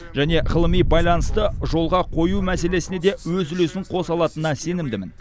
және ғылыми байланысты жолға қою мәселесіне де өз үлесін қоса алатынына сенімдімін